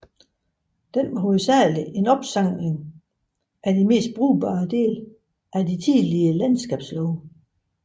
Den var hovedsagelig en opsamling af de mest brugbare dele af de tidligere landskabslove